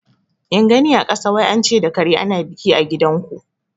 In gani a kasa; wai ance da kare ana biki a gidan ku